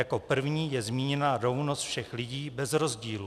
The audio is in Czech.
Jako první je zmíněna rovnost všech lidí bez rozdílu.